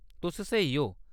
तुस स्हेई ओ।